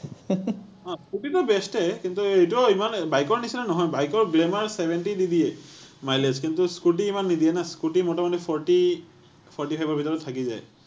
অ টো scooter best য়ে। কিন্তু এইটোও ইমান bike ৰ নিচিনা নহয়। bike Glamour ৰ seventy নিদিয়ে mileage । কিন্তু scooter ইমান নিদিয়ে না। scooter মোটামুটি forty, forty five ৰ ভিতৰত থাকি যায়।